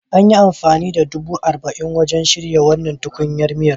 An yi amfani da dubu arba'in wajen shirya wannan tukunyar miya.